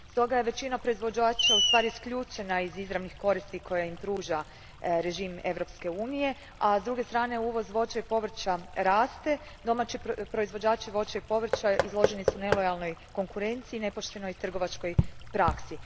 Stoga je većina proizvođača isključena iz izravnih koristi koje im pruža režim Europske unije, a s druge strane uvoz voća i povrća raste, domaći proizvođači voća i povrća izloženi su nelojalnoj konkurenciji i nepoštenoj trgovačkoj praksi.